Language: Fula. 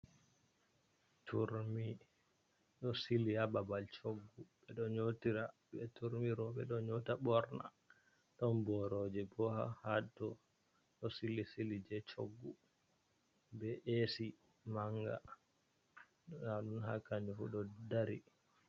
Turmi ɗo sili ha babal choggu ɓeɗo nyotira be turmi roɓɓe ɗo nyota borna, ɗon boroje bo haton ɗo sili sili je choggu be esi manga ndaaɗun ha kanjufu ɗo dari.